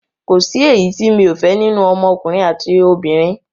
Kòsí èyí ti mi ò fẹ́ nínú ọmọ ọkùnrin àti obìnrin